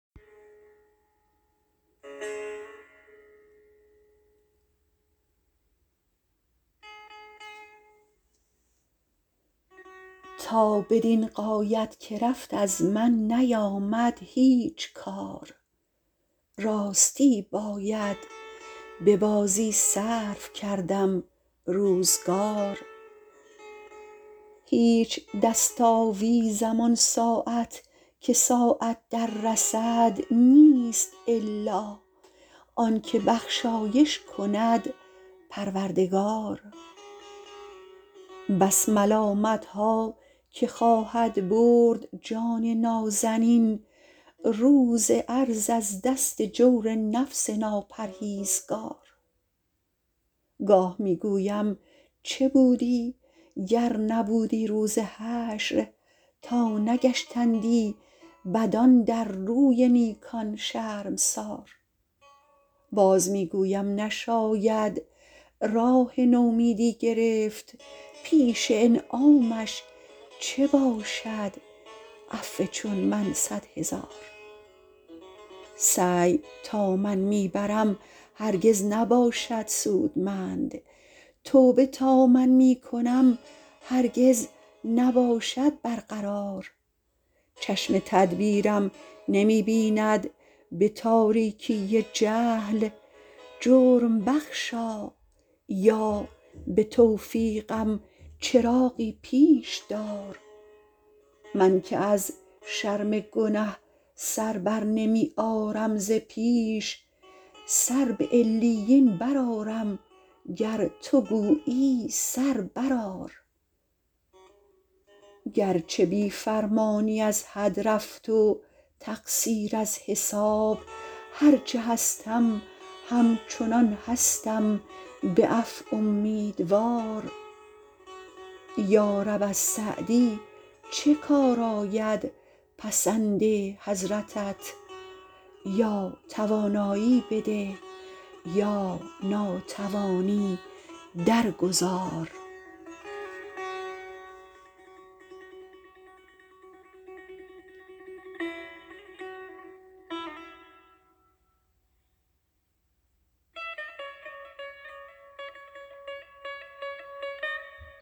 تا بدین غایت که رفت از من نیامد هیچ کار راستی باید به بازی صرف کردم روزگار هیچ دست آویزم آن ساعت که ساعت در رسد نیست الا آن که بخشایش کند پروردگار بس ملامتها که خواهد برد جان نازنین روز عرض از دست جور نفس ناپرهیزگار گاه می گویم چه بودی گر نبودی روز حشر تا نگشتندی بدان در روی نیکان شرمسار باز می گویم نشاید راه نومیدی گرفت پیش انعامش چه باشد عفو چون من صد هزار سعی تا من می برم هرگز نباشد سودمند توبه تا من می کنم هرگز نباشد برقرار چشم تدبیرم نمی بیند به تاریکی جهل جرم بخشا یا به توفیقم چراغی پیش دار من که از شرم گنه سر برنمی آرم ز پیش سر به علیین برآرم گر تو گویی سر برآر گرچه بی فرمانی از حد رفت و تقصیر از حساب هر چه هستم همچنان هستم به عفو امیدوار یارب از سعدی چه کار آید پسند حضرتت یا توانایی بده یا ناتوانی در گذار